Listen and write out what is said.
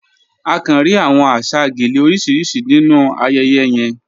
À kàn ríí awọn àṣà gèlè orísiríṣì nínu ayẹyẹ yẹ̀n.